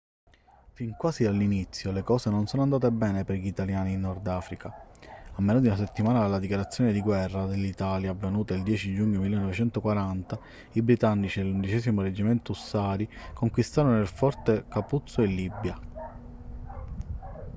fin quasi dall'inizio le cose non sono andate bene per gli italiani in nord africa. a meno di una settimana dalla dichiarazione di guerra dell'italia avvenuta il 10 giugno 1940 i britannici dell'11º reggimento ussari conquistarono il forte capuzzo in libia